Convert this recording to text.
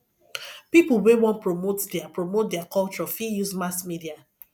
pipo wey wan promote their promote their culture fit use mass media